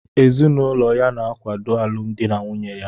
Ezinụlọ ya na-akwado alụmdi na nwunye a